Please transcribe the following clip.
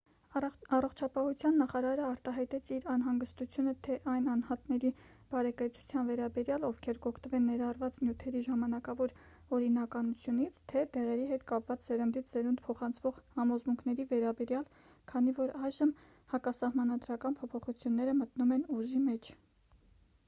առողջապահության նախարարը արտահայտեց իր անհանգստությունը թե այն անհատների բարեկեցության վերաբերյալ ովքեր կօգտվեն ներառված նյութերի ժամանակավոր օրինականությունից թե դեղերի հետ կապված սերնդից սերունդ փոխանցվող համոզմունքների վերաբերյալ քանի որ այժմ հակասահմանադրական փոփոխությունները մտնում են ուժի մեջ